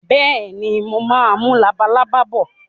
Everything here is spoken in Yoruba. Bẹ́ẹ̀ni, mo máa mú labalábá bọ̀